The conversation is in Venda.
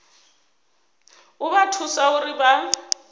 u vha thusa uri vha